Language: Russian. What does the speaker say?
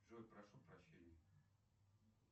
джой прошу прощения